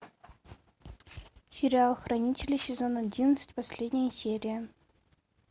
сериал хранители сезон одиннадцать последняя серия